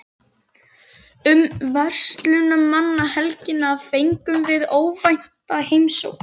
Um verslunarmannahelgina fengum við óvænta heimsókn.